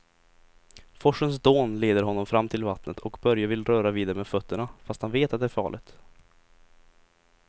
Forsens dån leder honom fram till vattnet och Börje vill röra vid det med fötterna, fast han vet att det är farligt.